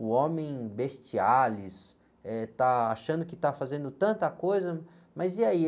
O homem bestiales, eh, está achando que está fazendo tanta coisa, mas e aí?